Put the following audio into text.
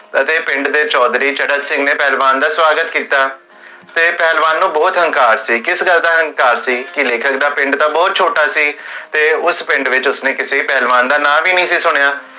ਅਤੇ ਪਿੰਡ ਦੇ ਚੌਧਰੀ ਪਹਲਵਾਨ ਚਾਰਾਂਸਿੰਘ ਨੇ ਪਹਲਵਾਨ ਦਾ ਸਵਾਗਤ ਕੀਤਾ ਤੇ ਪਹਲਵਾਨ ਨੂੰ ਬੋਹੋਤ ਹੰਕਾਰ ਸੀ ਕਿਸ ਗਲ ਦਾ ਹੰਕਾਰ ਸੀ? ਕੇ ਲੇਖਕ ਦਾ ਪਿੰਡ ਤਾ ਬੋਹੋਤ ਛੋਟਾ ਸੀ ਤੇ ਉਸ ਪਿੰਡ ਵਿਚ ਉਸਨੇ ਕਿਸੀ ਪਹਲਵਾਨ ਦਾ ਨਾਂ ਵੀ ਨੀ ਸੀ ਸੁਣਿਆ